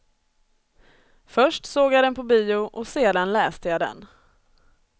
Först såg jag den på bio och sedan läste jag den.